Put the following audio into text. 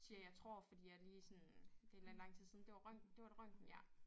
Siger jeg tror fordi jeg lige sådan det lidt lang tid siden. Det var røntgen det var et røntgen ja